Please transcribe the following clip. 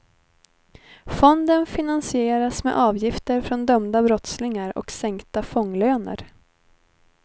Fonden finansieras med avgifter från dömda brottslingar och sänkta fånglöner.